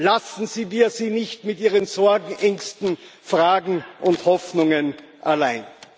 Lassen wir sie nicht mit ihren Sorgen, Ängsten, Fragen und Hoffnungen allein!